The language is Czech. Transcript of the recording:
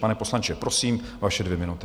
Pane poslanče, prosím, vaše dvě minuty.